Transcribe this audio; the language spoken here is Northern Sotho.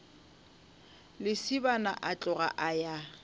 lesibana a tloga a ya